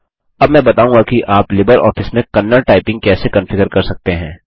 अब मैं बताऊँगा कि आप लिबरऑफिस में कन्नड़ टाइपिंग कैसे कंफिगर कर सकते हैं